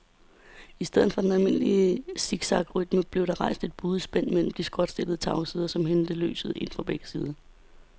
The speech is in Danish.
I stedet for den almindelige siksakrytme blev der rejst et buet spænd mellem de skråtstillede tagsider, som hentede lyset ind fra begge sider.